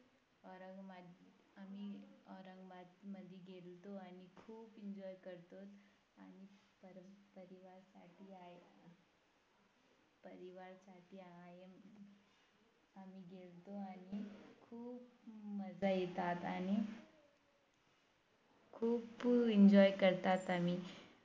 मजा येतात आणि खूप Enjoy करतात आम्ही